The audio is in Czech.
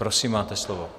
Prosím, máte slovo.